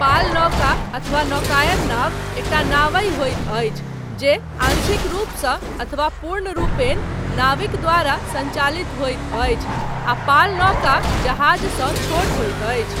पाल नौका अथवा नौकायन नाव, एकटा नावहि होइत अछि, जे आंशिक रूपसँ अथवा पूर्णरूपेण, नाविक द्वारा सञ्चालित होइत अछि, आ पाल नौका जहाजसँ छोट होइत अछि।